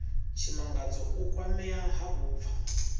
tshimangadzo u kwamea ha vhupfa